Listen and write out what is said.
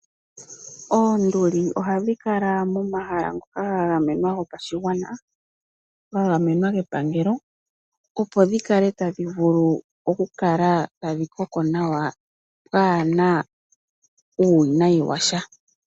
Oonduli ohadhi kala momahala ngoka ga gamenwa gopashigwana, ngoka ga gamenwa kepangelo opo dhi kale tadhi vulu okukala tadhi koko nawa kaa pwaana uuwinayi wa sha.